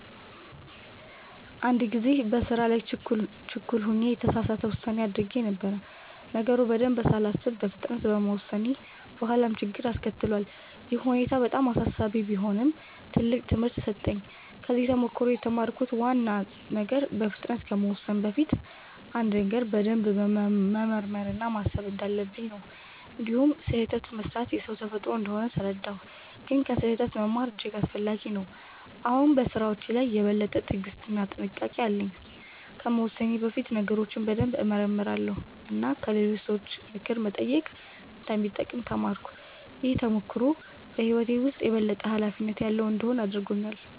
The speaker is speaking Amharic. አንድ ጊዜ በስራ ላይ ችኩል ሆኜ የተሳሳት ውሳኔ አድርጌ ነበር። ነገሩን በደንብ ሳላስብ በፍጥነት በመወሰኔ በኋላ ችግር አስከትሏል። ይህ ሁኔታ በጣም አሳሳቢ ቢሆንም ትልቅ ትምህርት ሰጠኝ። ከዚህ ተሞክሮ የተማርኩት ዋና ነገር በፍጥነት ከመወሰን በፊት አንድን ነገር በደንብ መመርመር እና ማሰብ እንዳለብኝ ነው። እንዲሁም ስህተት መስራት የሰው ተፈጥሮ እንደሆነ ተረዳሁ፣ ግን ከስህተት መማር እጅግ አስፈላጊ ነው። አሁን በስራዎቼ ላይ የበለጠ ትዕግስት እና ጥንቃቄ አለኝ። ከመወሰኔ በፊት ነገሮችን በደንብ እመረምራለሁ እና ከሌሎች ሰዎች ምክር መጠየቅ እንደሚጠቅም ተማርኩ። ይህ ተሞክሮ በህይወቴ ውስጥ የበለጠ ኃላፊነት ያለው እንድሆን አድርጎኛል።